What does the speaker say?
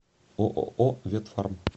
ооо ветфарм